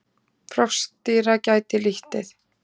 Froskdýra gætti lítið.